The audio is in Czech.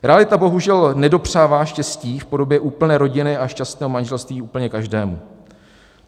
Realita bohužel nedopřává štěstí v podobě úplné rodiny a šťastného manželství úplně každému.